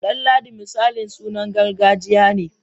Danladi misali sunan gargajiya ne.